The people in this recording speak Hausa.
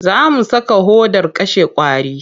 Za mu saka hodar kashe ƙwari.